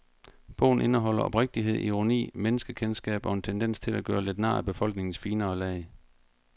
Bogen indeholder oprigtighed, ironi, menneskekendskab og en tendens til at gøre lidt nar af befolkningens finere lag.